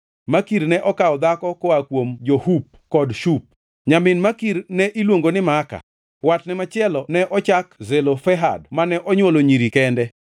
Makir ne okawo dhako koa kuom jo-Hup kod Shup. Nyamin Makir ne iluongo ni Maaka. Watne machielo ne ochak Zelofehad mane onywolo nyiri kende.